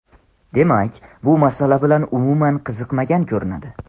Demak, bu masala bilan umuman qiziqmagan ko‘rinadi.